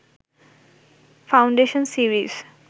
foundation series